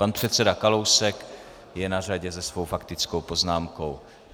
Pan předseda Kalousek je na řadě se svou faktickou poznámkou.